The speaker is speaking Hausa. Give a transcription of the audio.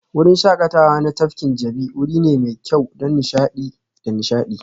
Wurin shakatawa na tafkin Jabi wuri ne mai kyau don nishaɗi da nishaɗi